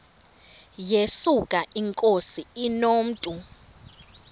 yesuka inkosi inomntu